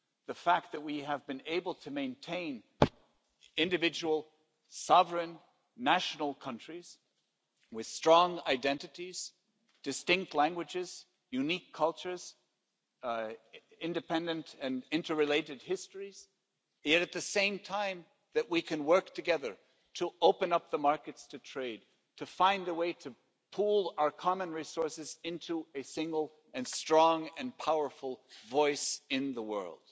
The fact that we have been able to maintain individual, sovereign, national countries with strong identities, distinct languages, unique cultures, independent and interrelated histories, and yet at the same time that we can work together, to open up the markets to trade, to find a way to pool our common resources into a single and strong and powerful voice in the world.